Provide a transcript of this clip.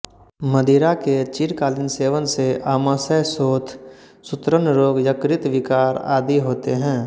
मदिरा के चिरकालीन सेवन से आमाशय शोथ सूत्रण रोग यकृत विकार आदि होते हैं